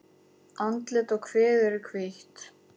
Andlit og kviður er hvítt.